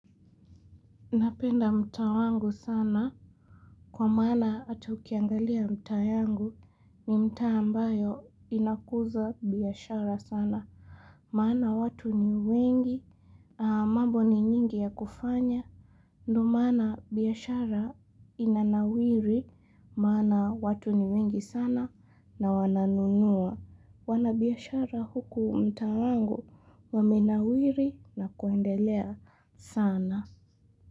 Napenda mta wangu sana. Kwa maana hata ukiangalia mtaa yangu ni mtaa ambayo inakuza biashara sana. Maana watu ni wengi, mambo ni nyingi ya kufanya. Ndio mana biashara inanawili, maana watu ni wengi sana na wana nunua. Wana biashara huku mtaa wangu wamenawili na kuendelea sana.